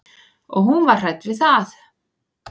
Og hún var hrædd við það.